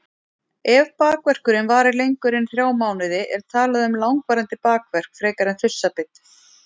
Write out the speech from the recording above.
Ef bakverkurinn varir lengur en þrjá mánuði er talað um langvarandi bakverk frekar en þursabit.